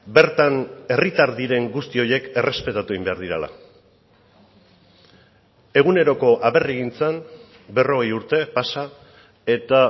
bertan herritar diren guzti horiek errespetatu egin behar direla eguneroko aberrigintzan berrogei urte pasa eta